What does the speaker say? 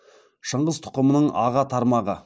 шыңғыс тұқымының аға тармағы